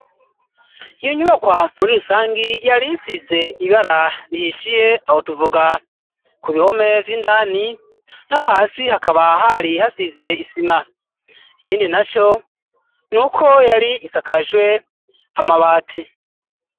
Iyo nyubakwa muri rusangi yari isize ibara rihishiye aho tuvuga ku bihome vy'indani naho hasi hakaba hari hasize isima ikindi naco nuko yari isakajwe amabati.